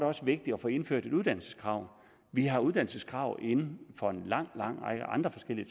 også vigtigt at få indført et uddannelseskrav vi har uddannelseskrav inden for en lang lang række andre forskellige